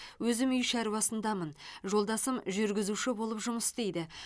өзім үй шаруасындамын жолдасым жүргізуші болып жұмыс істейді